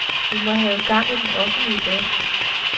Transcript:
Vi må have gang i den offentlige debat.